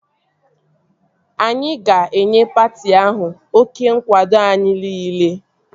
Anyị ga-enye patị ahụ oké nkwado anyị niile